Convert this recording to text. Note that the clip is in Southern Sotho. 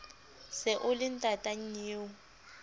se o le ntata nnyeo